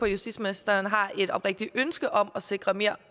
justitsministeren har et oprigtigt ønske om at sikre mere